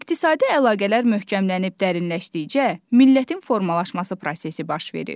İqtisadi əlaqələr möhkəmlənib dərinləşdikcə, millətin formalaşması prosesi baş verir.